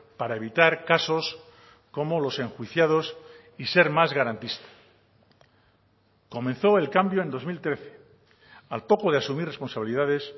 para evitar casos como los enjuiciados y ser más garantista comenzó el cambio en dos mil trece al poco de asumir responsabilidades